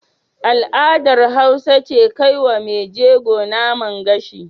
Al'adar Hausa ce kaiwa Mai jego Naman gashi